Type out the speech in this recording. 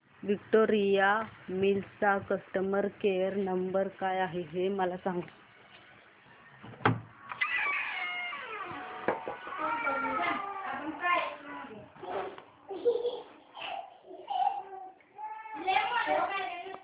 Victoria Mills चा customer care number काय आहे हे मला सांगा